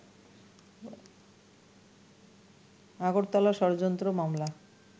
আগরতলা ষড়যন্ত্র মামলা